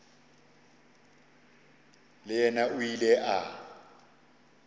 le yena o ile a